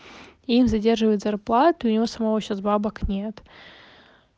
им задерживают зарплату и у него самого сейчас бабок нет